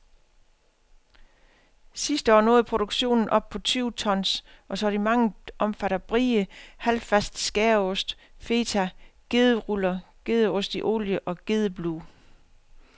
Sidste år nåede produktionen op på tyve tons, og sortimentet omfatter brie, halvfast skæreost, feta, gederuller, gedeost i olie og gedeblue.